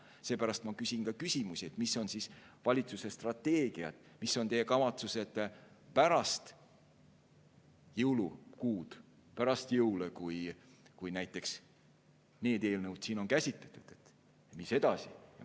Seepärast ma ka küsin, mis on siis valitsuse strateegiad, mis on valitsuse kavatsused pärast jõulukuud, pärast jõule, kui näiteks need eelnõud siin on käsitletud, et mis siis edasi.